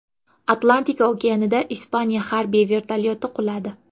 Atlantika okeanida Ispaniya harbiy vertolyoti quladi.